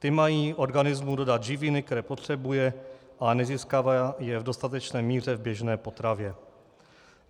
Ty mají organismu dodat živiny, které potřebuje, ale nezískává je v dostatečné míře v běžné potravě.